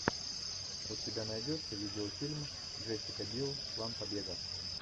у тебя найдется видеофильм джессика бил план побега